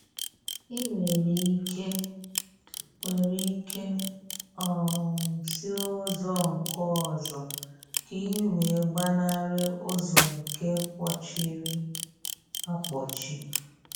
I nwere ike nwere ike um si ụzọ nke ọzọ ka ị wee gbanarị ụzọ nke mkpọchiri akpọchi